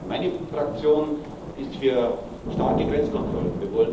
Meine Fraktion ist für starke Grenzkontrollen.